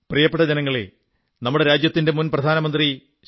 പ്രിയപ്പെട്ട ജനങ്ങളേ നമ്മുടെ രാജ്യത്തിന്റെ മുൻ പ്രധാനമന്ത്രി ശ്രീ